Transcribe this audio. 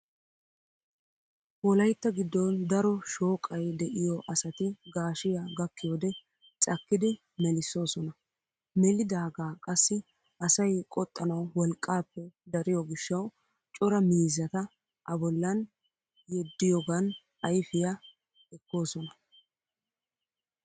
Wolaytta giddon daro shooqay de"iyoo asati gaashiyaa gakkiyoodee cakkidi melissoosona. Melidaaga qassi asay qoxxanawu wolqqaappe dariyoo gishsawu cora miizzata A bollan yeddiyoogan ayfiyaa ekkoosona.